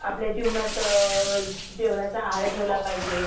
आपल्या जीवनात जेवणाचा आहार ठेवला पाहिजे.